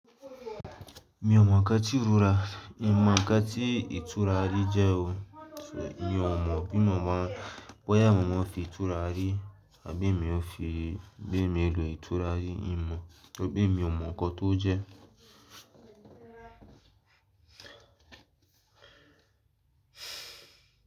Mi ò mọ̀ kán tí ìrura, ì mọ̀ kán tí ìturarí jẹ́ o. Mi ò mọ̀ bí màmá, bọ́yá màmá fi ìturarí àbí èmi ó fi, bẹ́ẹ̀ èmi lò ìturarí. Ì mọ̀, bẹ́ẹ̀ e mi ò mọ̀ kan tó jẹ́.